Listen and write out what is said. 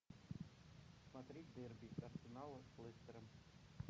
смотреть дерби арсенала с лестером